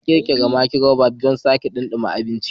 An ƙirƙira microwave don sake dumama abinci.